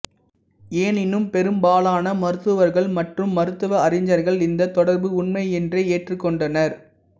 எனினும் பெரும்பாலான மருத்துவர்கள் மற்றும் மருத்துவ அறிஞர்கள் இந்த தொடர்பு உண்மை என்றே ஏற்றுக் கொண்டனர்